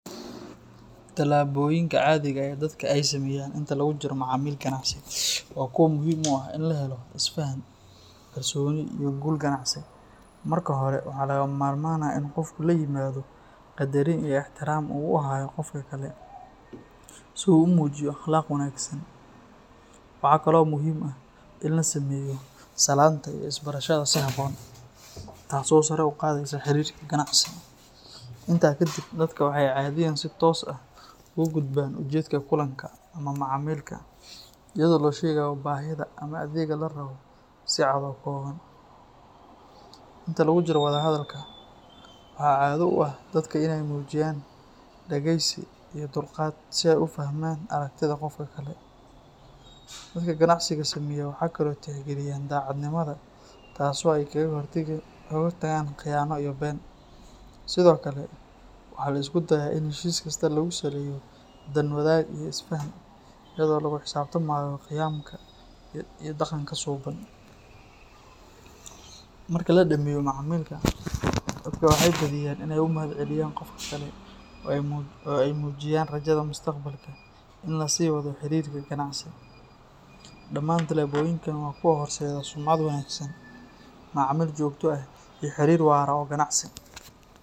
Tallaabooyinka caadiga ah ee dadka ay sameeyaan inta lagu jiro macaamil ganacsi waa kuwo muhiim u ah in la helo isfaham, kalsooni iyo guul ganacsi. Marka hore, waxaa lagama maarmaan ah in qofku la yimaado qadarin iyo ixtiraam uu u hayo qofka kale, si uu u muujiyo akhlaaq wanaagsan. Waxaa kaloo muhiim ah in la sameeyo salaanta iyo isbarashada si habboon, taas oo sare u qaadaysa xiriirka ganacsi. Intaa kadib, dadka waxay caadiyan si toos ah ugu gudbaan ujeedka kulanka ama macaamilka, iyadoo la sheegayo baahida ama adeegga la rabo si cad oo kooban. Inta lagu jiro wada hadalka, waxaa caado u ah dadka inay muujiyaan dhegeysi iyo dulqaad si ay u fahmaan aragtida qofka kale. Dadka ganacsiga sameeya waxay kale oo tixgeliyaan daacadnimada, taasoo ay kaga hortagaan khiyaano iyo been. Sidoo kale, waxaa la isku dayaa in heshiis kasta lagu saleeyo dan wadaag iyo isfaham, iyadoo lagu xisaabtamayo qiyamka iyo dhaqanka suuban. Marka la dhammeeyo macaamilka, dadka waxay badiyaan inay u mahadceliyaan qofka kale oo ay muujiyaan rajada mustaqbalka in la sii wado xiriirka ganacsi. Dhammaan tallaabooyinkan waa kuwo horseeda sumcad wanaagsan, macaamiil joogto ah iyo xiriir waara oo ganacsi.